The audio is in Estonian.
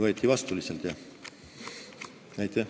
Võeti lihtsalt vastu.